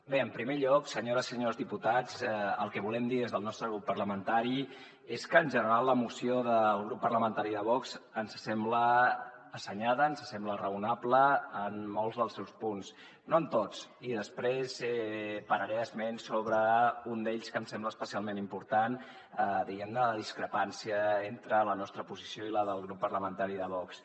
bé en primer lloc senyores i senyors diputats el que volem dir des del nostre grup parlamentari és que en general la moció del grup parlamentari de vox ens sembla assenyada ens sembla raonable en molts dels seus punts no en tots i després pararé esment sobre un d’ells en que em sembla especialment important diguem ne la discrepància entre la nostra posició i la del grup parlamentari de vox